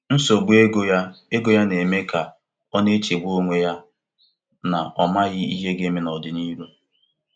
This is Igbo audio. Nsogbu ego ya ego ya na-eme ka ọ na-echegbu onwe ya na ọ maghị ihe ga-eme n’ọdịnihu.